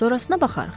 Sorasına baxarıq.